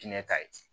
Diinɛ ta ye